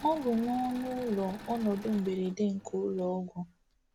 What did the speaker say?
Ọ bụ n’ọnụ ụlọ ọnọdụ mberede nke ụlọ ọgwụ.